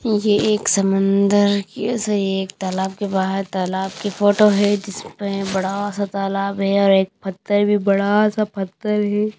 ये एक समंदर के सॉरी एक तालाब के बाहर तालाब की फोटो है जिसमें बड़ा सा तालाब है और एक पत्थर भी बड़ा सा पत्थर है।